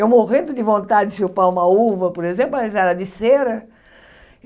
Eu morrendo de vontade de chupar uma uva, por exemplo, mas era de cera.